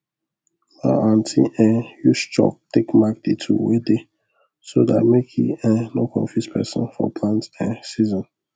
ma aunty um use chalk take mark the tool wey dey so that make e um no confuse person for plant um season